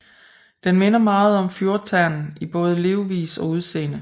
Den minder meget om fjordternen i både levevis og udseende